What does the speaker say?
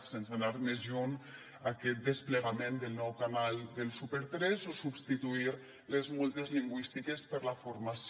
sense anar més lluny aquest desplegament del nou canal del super3 o substituir les multes lingüístiques per la formació